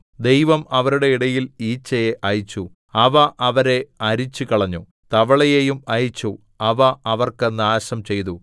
ദൈവം അവരുടെ ഇടയിൽ ഈച്ചയെ അയച്ചു അവ അവരെ അരിച്ചുകളഞ്ഞു തവളയെയും അയച്ചു അവ അവർക്ക് നാശം ചെയ്തു